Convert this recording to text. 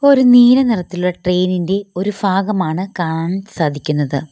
ഒരു നീല നിറത്തിലുള്ള ട്രെയിൻ ഇൻ്റെ ഒരു ഭാഗമാണ് കാണാൻ സാധിക്കുന്നത്.